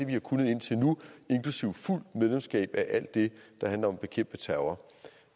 vi har kunnet indtil nu inklusive have fuldt medlemskab af alt det der handler om at bekæmpe terror